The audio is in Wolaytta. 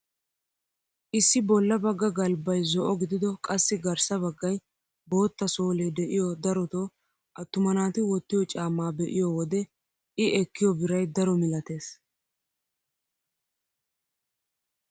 Issi bolla bagga galbbay zo'o gidido qassi garssa baggay bootta soolee de'iyoo darotoo attuma naati wottiyoo caammaa be'iyoo wode i ekkiyoo biray daro milatees.